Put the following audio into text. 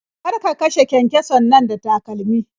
Kar ka kashe kyankyason nan da takalmi.